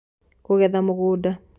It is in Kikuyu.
Kũgetha Mũgũnda